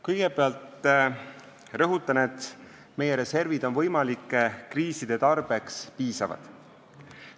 " Kõigepealt rõhutan, et meie reservid on võimalike kriiside tarbeks piisavad.